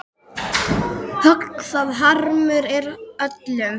Högg það harmur er öllum.